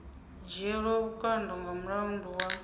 dzhielwa vhukando nga mulandu wa